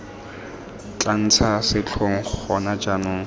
tla ntsha setlhong gona jaanong